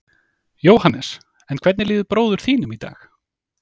Jóhannes: En hvernig líður bróður þínum í dag?